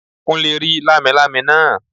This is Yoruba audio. Kúnlé rí lámilámi náà